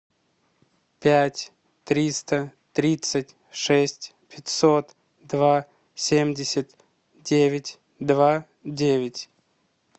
пять триста тридцать шесть пятьсот два семьдесят девять два девять